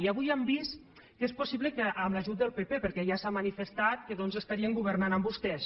i avui ja hem vist que és possible que amb l’ajut del pp perquè ja s’ha manifestat que doncs estarien governant amb vostès